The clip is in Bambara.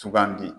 Sugandi